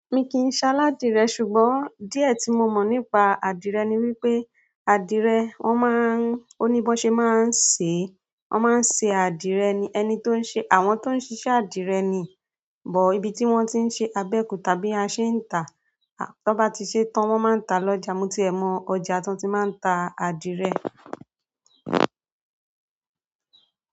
Mi kì í ṣ'aládìrẹ, ṣùgbọ́n dí ẹ̀ tí mo mọ̀ nípa adìrẹ ni wípé adìrẹ wón máa ń, oní bọ́ ṣe máa ń ṣe, wón máa ń ṣe adìrẹ ni ẹni tó ń ṣe, àwọn tó ń ṣiṣẹ́ adìrẹ ni, bọ̀ ibi tí wón ti ń ṣe abẹ́okuta àbí aṣẹ́ńtà, tí wọ́n bá ti ṣe tán wón máa ń ta lọ́jà. Mo ti ẹ mọ ọjà t'ón ti máa ń ta adìrẹ.